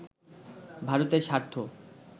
ভারতের স্বার্থ